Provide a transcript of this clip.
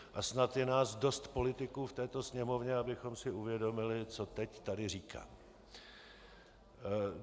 A snad je nás dost politiků v této Sněmovně, abychom si uvědomili, co teď tady říkám.